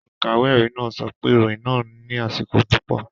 Olùkàwé ẹ̀rí náà sọ pé ìròyìn náà ní àṣìko púpọ̀.